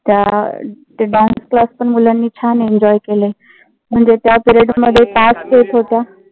त्या ते dance class पण मुलांनी छान enjoy केले. म्हणजे त्या period मध्ये येत होत्या.